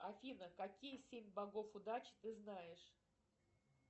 афина какие семь богов удачи ты знаешь